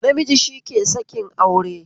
Namiji shike sakin aure